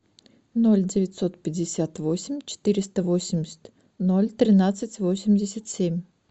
ноль девятьсот пятьдесят восемь четыреста восемьдесят ноль тринадцать восемьдесят семь